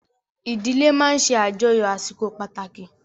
Ìdílé máa ń ṣe àjọyọ̀ àsìkò pàtàkì